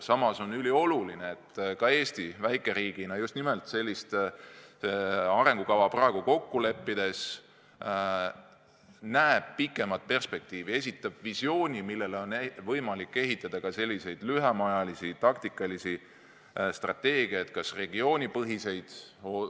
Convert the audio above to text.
Samas on ülioluline, et ka Eesti väikeriigina just nimelt sellist arengukava praegu kokku leppides näeb pikemat perspektiivi, esitab visiooni, millele on võimalik ehitada lühemaajalisi taktikalisi strateegiaid, ka regioonipõhiseid.